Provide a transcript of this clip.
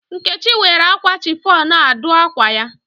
Nkechi were akwa chiffon a dụ akwa ya.